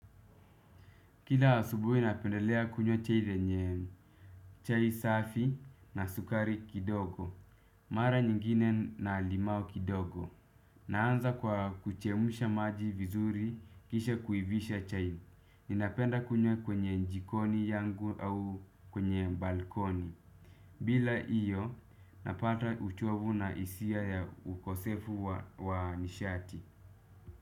Kila asubuhi napendelea kunywa chai safi na sukari kidogo. Mara nyingine na limao kidogo. Naanza kwa kuchemsha maji vizuri kisha kuivisha chai. Ninapenda kunywa kwenye jikoni yangu au kwenye balkoni. Bila hiyo napata uchovu na hisia ya ukosefu wa nishati.